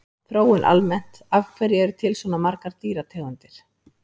Þróun almennt Af hverju eru til svona margar dýrategundir?